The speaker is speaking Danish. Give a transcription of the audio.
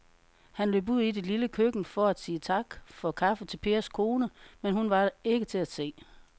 Han løb ud i det lille køkken for at sige tak for kaffe til Pers kone, men hun var ikke til at se.